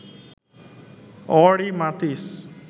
Henri মাতিস